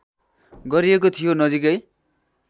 गरिएको थियो नजिकै